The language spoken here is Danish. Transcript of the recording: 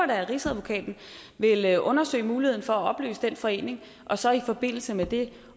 da at rigsadvokaten ville undersøge muligheden for at opløse den forening og så i forbindelse med det